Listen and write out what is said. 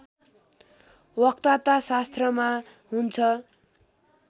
वक्ताताशास्त्रमा हुन्छ